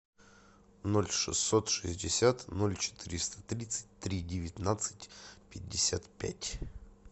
ноль шестьсот шестьдесят ноль четыреста тридцать три девятнадцать пятьдесят пять